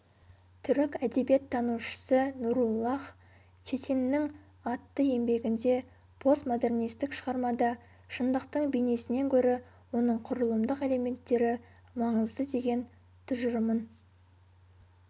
түрік әдебиеттанушысы нуруллаһ четиннің атты еңбегінде постмодернистік шығармада шындықтың бейнесінен гөрі оның құрылымдық элементтері маңызды деген тұжырымын